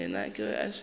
yena ke ge a šetše